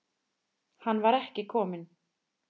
Hann var ekki kominn.